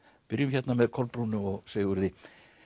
byrjum hérna með Kolbrúnu og Sigurði